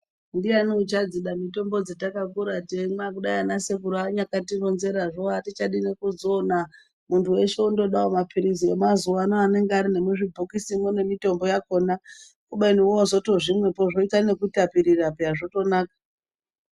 Ndiyani uchadzidza mitombo dzatakakura teimwa. Kudai ana sekuru akanyatironzerazvo atichadi nekudzoina. Muntu weshe wondodawo mapirizi emazuwa ano anonga ari nemuzvibhokisi mwo nemitombo yakhona kubeni woozvimwepo zvoita nekutapirira peya zvotonaka.